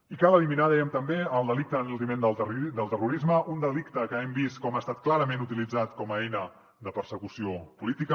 i cal eliminar dèiem també el delicte d’enaltiment del terrorisme un delicte que hem vist com ha estat clarament utilitzat com a eina de persecució política